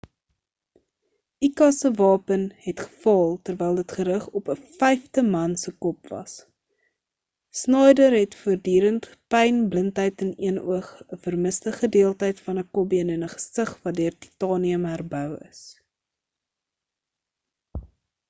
uka se wapen het gefaal terwyl dit gerig op 'n vyfde man se kop was schneider het voordurende pyn blindheid in een oog 'n vermiste gedeelte van 'n kopbeen en 'n gesig wat deur titanium herbou is